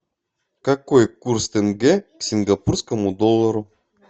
какой курс тенге к сингапурскому доллару